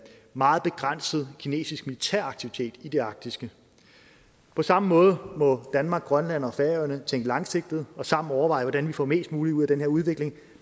meget begrænset kinesisk militær aktivitet i det arktiske på samme måde må danmark grønland og færøerne tænke langsigtet og sammen overveje hvordan vi får mest muligt ud af den her udvikling